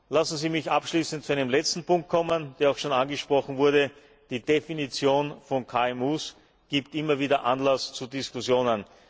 KMU. Lassen Sie mich abschließend zu einem letzten Punkt kommen, der auch schon angesprochen wurde Die Definition von KMU gibt immer wieder Anlass zu Diskussionen.